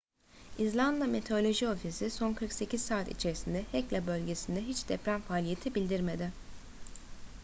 i̇zlanda meteoroloji ofisi son 48 saat içerisinde hekla bölgesinde hiç deprem faaliyeti bildirmedi